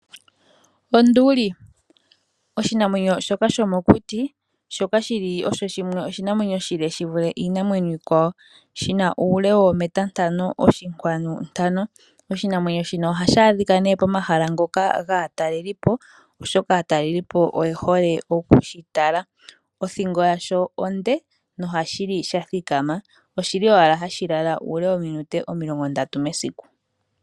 Onduli osho oshinamwenyo shomokuti, shoka shili osho oshinamwenyo oshile shivule iinamwenyo iikwawo. Oshina uule woometa ntano oshinkwanu ntano. Oshinamwenyo shino ohashi adhika nee pomahala ngoka gaatalelipo, oshoka aatalelipo oyehole okushitala. Othingo yasho onde nohashi li sha thikama. Ohashi lala owala uule woominute omilongo ndatu mesiku.